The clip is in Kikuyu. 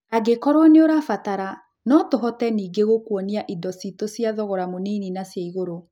Angĩkorwo nĩ ũrabatarano tũhote ningĩ gũkuonic indo citũ cia thogora mũnini na cia igũrũ.